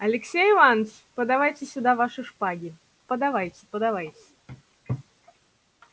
алексей иваныч подавайте сюда ваши шпаги подавайте подавайте